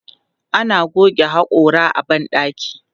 Ana goge haƙora a ban ɗaki.